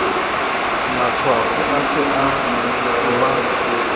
matshwafo a se a uba